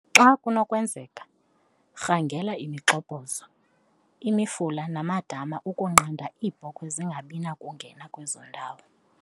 Xa kunokwenzeka, rhangela imigxobhozo, imifula namadama ukunqanda iibhokhwe zingabi nakungena kwezo ndawo.